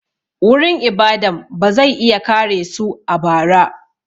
Wurin ibadan ba zai iya kare su a bara.